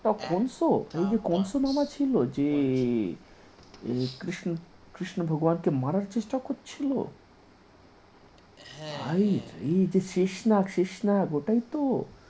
একটা কংস যে কংস মামা ছিল যে কৃষ্ণ কৃষ্ণ ভগবান কে মারার চেষ্টা করছি্ল হাইরে হ্যাঁ হ্যাঁ যে শ্বেত নাগ শ্বেত নাগ ওটাই তো